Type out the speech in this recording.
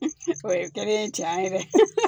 o ye kɛlen ye tiɲɛ yɛrɛ